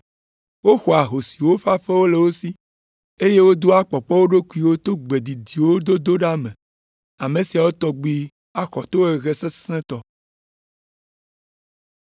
Woxɔa ahosiwo ƒe aƒewo le wo si, eye wodoa kpɔkpɔ wo ɖokuiwo to gbe didiwo dodo ɖa me. Ame siawo tɔgbi axɔ tohehe sesẽtɔ.”